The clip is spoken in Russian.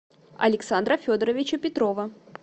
александра федоровича петрова